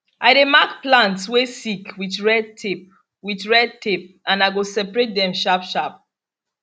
i dey mark plants way sick with red tape with red tape and i go separate dem sharp sharp